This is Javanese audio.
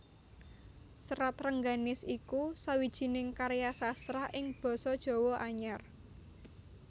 Serat Rengganis iku sawijining karya sastra ing basa Jawa Anyar